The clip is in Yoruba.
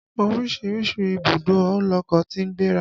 Oríṣiríṣi ìbùdó lọkọ̀ tí ń gbéra.